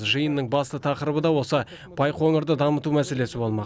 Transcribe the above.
жиынның басты тақырыбы да осы байқоңырды дамыту мәселесі болмақ